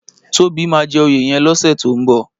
Tobi má jè óyé yèn lòsè tó n bò